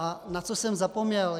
A na co jsem zapomněl?